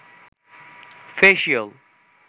facial